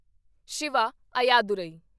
Shiva Ayyadurai